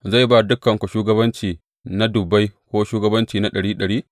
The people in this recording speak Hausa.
Zai ba dukanku shugabanci na dubbai ko shugabanci na ɗari ɗari?